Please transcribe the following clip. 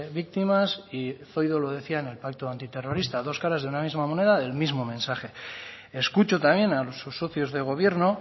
víctimas y zoido lo decía en el pacto antiterrorista dos caras de una misma moneda del mismo mensaje escucho también a sus socios de gobierno